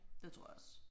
Det tror jeg også